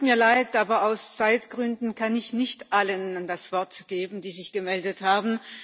Es tut mir leid, aber aus Zeitgründen kann ich nicht allen das Wort geben, die sich gemeldet haben.